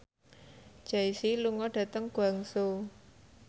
Jay Z lunga dhateng Guangzhou